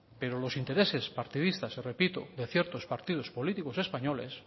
pero los intereses partidistas repito de ciertos partidos políticos españoles